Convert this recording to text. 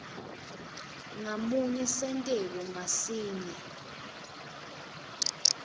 ngamunye senteko ngasinye